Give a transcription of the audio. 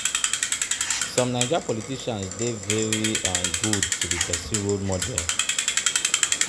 Some naija politicians dey very um good to be pesin role model.